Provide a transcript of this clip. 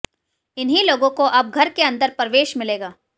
इन्हीं लोगों को अब घर के अंदर प्रवेश मिलेगा